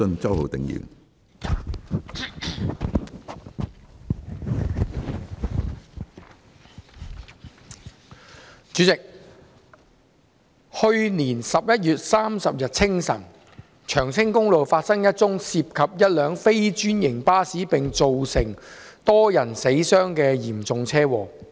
主席，去年11月30日清晨，長青公路發生一宗涉及一輛非專營巴士並造成多人死傷的嚴重車禍。